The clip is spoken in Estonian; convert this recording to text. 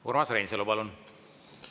Urmas Reinsalu, palun!